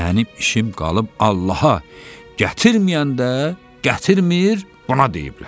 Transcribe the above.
Mənim işim qalıb Allaha, gətirməyəndə gətirmir, buna deyiblər.